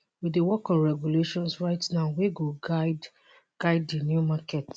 we dey work on regulations right now wey go guide guide di new market